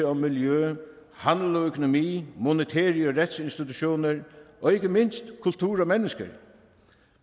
og miljø handel og økonomi monetære institutioner og retsinstitutioner og ikke mindst kultur og mennesker